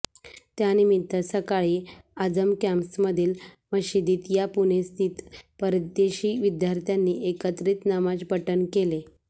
त्यानिमित्त सकाळी आझम कॅम्पसमधील मशिदीत या पुणेस्थित परदेशी विद्यार्थ्यांनी एकत्रित नमाजपठण केले